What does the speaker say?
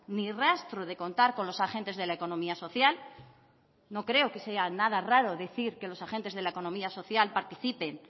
ni rastro de contar con los agentes de la economía social no creo que sea nada raro decir que los agentes de la economía social participen